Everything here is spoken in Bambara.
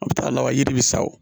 A bɛ taa laban yiri bɛ sa o